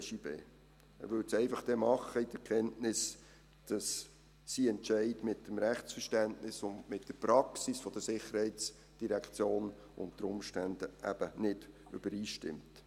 Er würde dies dann einfach in der Kenntnis tun, dass sein Entscheid mit dem Rechtsverständnis und mit der Praxis der SID unter Umständen eben nicht übereinstimmt.